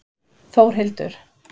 Þórhildur